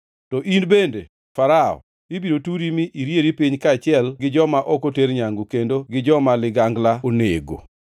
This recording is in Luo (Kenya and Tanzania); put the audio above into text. “To in bende, Farao, ibiro turi mi irieri piny kaachiel gi joma ok oter nyangu, kendo gi joma ligangla onego.